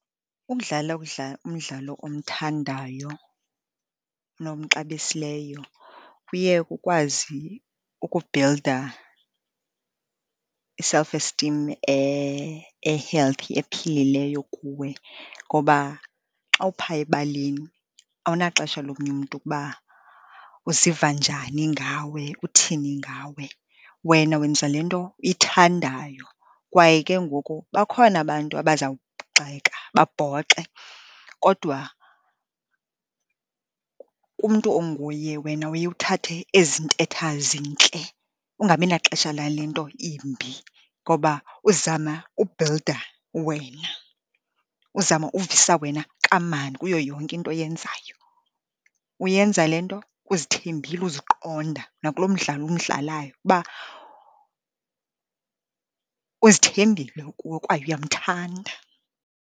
Ukudlala umdlalo omthandayo nomxabisileyo kuye kukwazi ukubhilda i-self esteem e-healthy, ephilileyo kuwe ngoba xa uphaa ebaleni awunaxesha lomnye umntu ukuba uziva njani ngawe, uthini ngawe. Wena wenza le nto uyithandayo, kwaye ke ngoku bakhona abantu abaza kugxeka, babhoxe, kodwa kumntu onguye wena uye uthathe ezi ntetha zintle, ungabi naxesha lale nto imbi, ngoba uzama ubhilda uwena. Uzama uvisa wena kamandi kuyo yonke into oyenzayo. Uyenza le nto uzithembile, uziqonda nakulo mdlalo umdlalayo uba uzithembile kwaye uyamthanda.